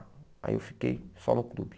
Aí eu fiquei só no clube.